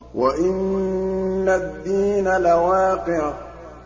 وَإِنَّ الدِّينَ لَوَاقِعٌ